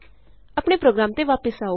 ਆਪਣੇ ਪ੍ਰੋਗਰਾਮ ਤੇ ਵਾਪਸ ਆਉ